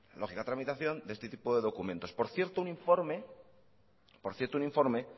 lógica tramitación de este tipo de documentos por cierto un informe